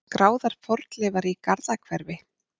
Skráðar fornleifar í Garðahverfi.